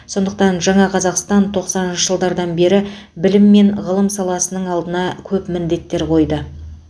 сондықтан жаңа қазақстан тоқсаныншы жылдардан бері білім мен ғылым саласының алдына көп міндеттер қойды